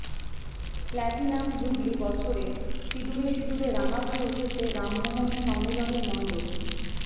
platinum jubilee বছরে সিঁদুরে সিঁদুরে রাঙা হয়ে উঠেছে রামমোহন সম্মিলনীর মণ্ডপ